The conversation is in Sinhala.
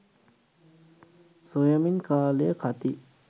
සොයමින් කාලය කති